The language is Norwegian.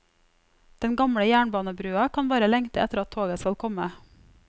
Den gamle jernbanebrua kan bare lengte etter at toget skal komme.